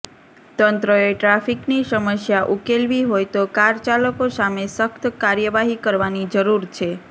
તંત્રએ ટ્રાફિકની સમસ્યા ઉકેલવી હોય તો કારચાલકો સામે સખ્ત કાર્યવાહી કરવાની જરૂર છે